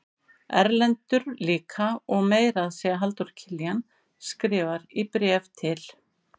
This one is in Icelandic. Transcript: Erlendur líka og meira að segja Halldór Kiljan skrifar í bréfi til